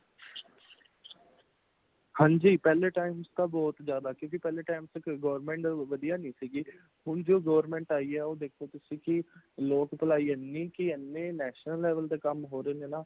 ਹਾਂਜੀ, ਪਹਲੇ time ਤਾ ਬਹੁਤ ਜਿਯਾਦਾ ਕਉਕਿ ਪਹਲੇ time ਤੱਕ government ਵਧੀਆ ਨਹੀਂ ਸੀਗ੍ਹੇ |ਹੋਨ ਜੋ government ਆਈ ਏ | ਉਹ ਦੇਖੋ ਤੁਸੀਂ ਕਿ ਲੋਕ ਪਲਾਈ ਏਨਿ ਕਿ ਏਨ੍ਹੇ national level ਦੇ ਕੰਮ ਹੋ ਰਹੇ ਨੇ ਨਾ।